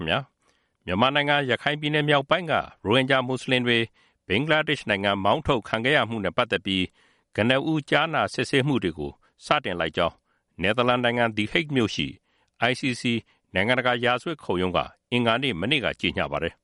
င် 2018.09.19 မြန်မာနိုင်ငံ ရခိုင်ပြည်နယ်မြောက်ပိုင်းက ရိုဟင်ဂျာမွတ်စလင်တွေ ဘင်္ဂလားဒေ့ရှ်နိုင်ငံ မှောင်းထုတ်ခံခဲ့ရမှုနဲ့ ပတ်သက်ပြီး ပဏာမ ကြားနာစစ်ဆေးမှုတွေကို စတင်လိုက်ကြောင်း နယ်သာလန်နိုင်ငံ The Hague သည်ဟိဂ်မြို့ရှိ ICC နိုင်ငံတကာ ရာဇဝတ်ခုံရုံးက အင်္ဂါနေ့ မနေ့က ကြေညာပါတယ်